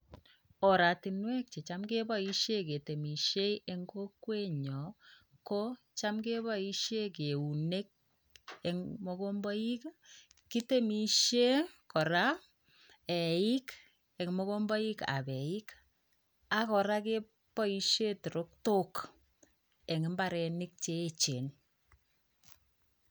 Oratunwek checham keboisien ketemisien eng kokwenyon, kocham keboisien eunek eng mogombaik ii. Kitemisien kora eik eng mogombaikab eik ak kora keboisien terektok en mbarenik cheechen